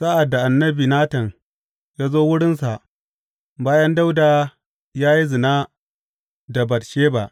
Sa’ad da annabi Natan ya zo wurinsa bayan Dawuda ya yi zina da Batsheba.